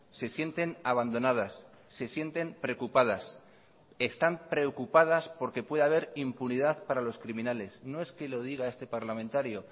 se sienten abandonadas se sienten preocupadas están preocupadas porque pueda haber impunidad para los criminales no es que lo diga este parlamentario